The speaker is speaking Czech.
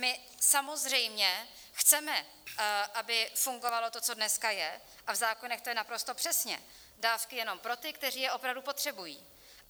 My samozřejmě chceme, aby fungovalo to, co dneska je, a v zákonech to je naprosto přesně: dávky jenom pro ty, kteří je opravdu potřebují.